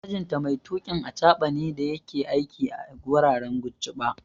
Mijinta mai tuƙin achaɓa ne da yake aiki a wuraren Gujba